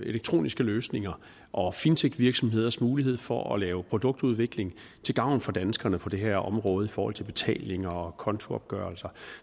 elektroniske løsninger og fintechvirksomheders mulighed for at lave produktudvikling til gavn for danskerne på det her område i forhold til betalinger og kontoopgørelser